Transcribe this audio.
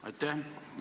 Aitäh!